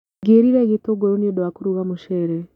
Ngerire gĩtũngũrũ nĩũndũ wa kũruga mũcere.